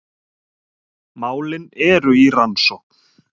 Málin eru í rannsókn